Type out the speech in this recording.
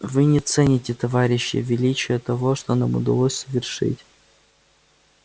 вы не цените товарищи величие того что нам удалось совершить